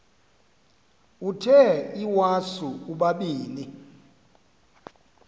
uthe iwasu ubabini